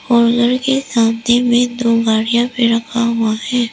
और उधर के सामने में दो गाड़ियां भी रखा हुआ है।